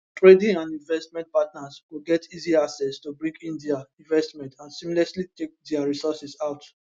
trading and investment partners go get easy access to bring in dia investments and seamlessly take dia resources out